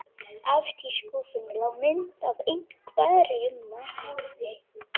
Efst í skúffunni lá mynd af einhverjum manni.